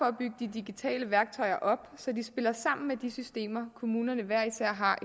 at bygge de digitale værktøjer op så de spiller sammen med de systemer de kommuner i